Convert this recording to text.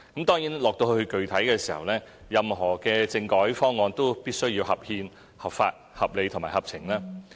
當然，具體而言，任何政改方案都必須合憲、合法、合理和合情。